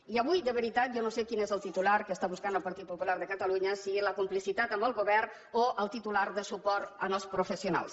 i avui de veritat jo no sé quin és el titular que està buscant el partit popular de catalunya si la complicitat amb el govern o el titular de suport als professionals